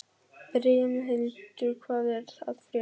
Brimhildur, hvað er að frétta?